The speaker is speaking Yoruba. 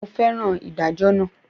Mo fẹ́ràn ìdájọ́ naa